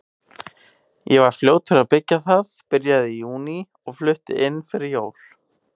Ég var fljótur að byggja það, byrjaði í júní og flutti inn fyrir jól.